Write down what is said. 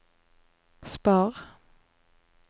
spar